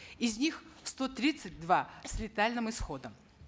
из них сто тридцать два с летальным исходом